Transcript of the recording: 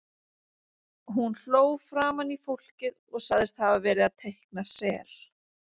Hún hló framan í fólkið og sagðist hafa verið að teikna sel.